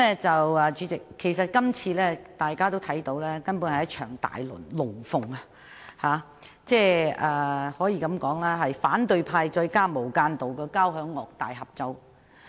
代理主席，大家也看到，這次根本是一場"大龍鳳"，可以說是反對派加上"無間道"的交響樂大合奏。